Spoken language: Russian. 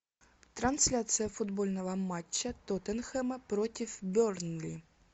трансляция футбольного матча тоттенхэма против бернли